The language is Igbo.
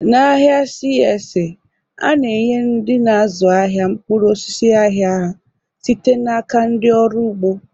Na ahịa CSA, a na-enye ndị na-azụ ahịa mkpụrụ osisi ahia ha site n'aka ndị ọrụ ugbo